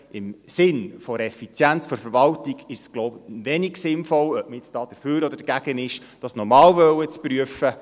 Im Sinne der Effizienz der Verwaltung ist es wohl wenig sinnvoll, dies nochmals prüfen zu wollen, ob man nun dafür oder dagegen ist.